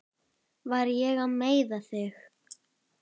Var ég að meiða þig?